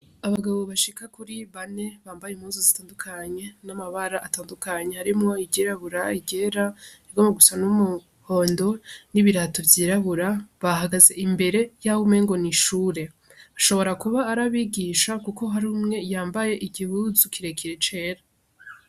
Abagabo bashika kuri bane bambaye impuzu zitandukanye n'amabara atandukanye harimwo iry'irabura iry'era irigomba gusa n'umuhondo n'ibirato vy'irabura bahagaze imbere yaho umenga n'ishure ashobora kuba ari abigisha kuko hari umwe yambaye igihuzu kirekire c'era.